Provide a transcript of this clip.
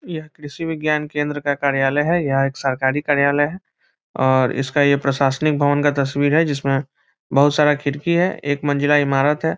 यह कृषि विज्ञान केंद्र का कार्यालय है। यह एक सरकारी कार्यालय है और इसका ये प्रशासनिक भवन का तस्वीर है जिसमें बहुत सारा खिड़की है एक मंजिला इमारत है।